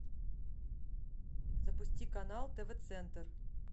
запусти канал тв центр